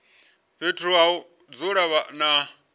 fhethu ha u dzula na